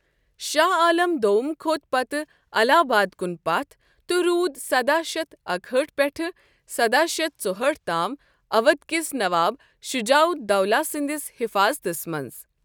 شاہ عالم دوم كھوٚت پتہٕ الہ آباد کُن پتھ تہٕ روُد سداہ شیتھ اکہأٹھ پیٹھہٕ ساداہ شیتھ ژُہأٹھ تام اودھ کِس نواب شجاع الدولہ سندِس حفاظتس منز۔